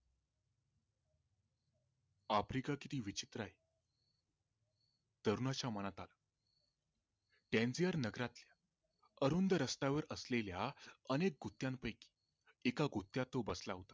AFRICA किती विचित्र आहे तरुणाच्या मनात आलं CONVIOUR नगरातल्या अरुंद रस्त्यावर असलेल्या अनेक गुत्यां पैकी एका गुत्यांत तो बसला होता